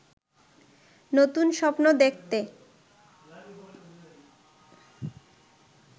নতুন স্বপ্ন দেখতে